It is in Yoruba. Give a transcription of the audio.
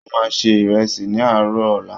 Wọ́n máa se ìrẹsì ní àárọ̀ ọ̀la.